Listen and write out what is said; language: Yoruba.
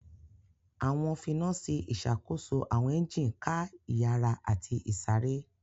Awọn finasi išakoso awọn engine ká iyara ati isare.